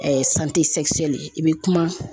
i bɛ kuma.